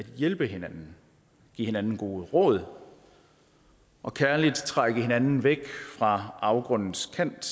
hjælpe hinanden give hinanden gode råd og kærligt trække hinanden væk fra afgrundens kant